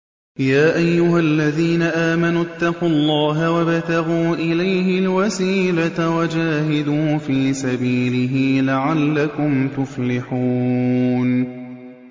يَا أَيُّهَا الَّذِينَ آمَنُوا اتَّقُوا اللَّهَ وَابْتَغُوا إِلَيْهِ الْوَسِيلَةَ وَجَاهِدُوا فِي سَبِيلِهِ لَعَلَّكُمْ تُفْلِحُونَ